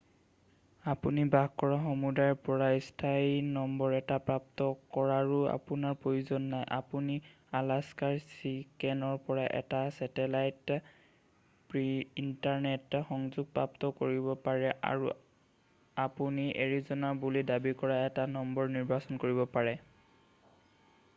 আপুনি বাস কৰা সমূদায়ৰ পৰা স্থানীয় নম্বৰ এটা প্ৰাপ্ত কৰাৰো আপোনাৰ প্ৰয়োজন নাই ; আপুনি আলাস্কাৰ ছিকেনৰ পৰা এটা ছেটেলাইট িন্টাৰনেট সংযোগ প্ৰাপ্ত কৰিব পাৰে আৰু আৰু আপুনি এৰিজ’নাৰ বুলি দাবী কৰা এটা নম্বৰ নিৰ্বাচন কৰিব পাৰে।